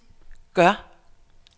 gør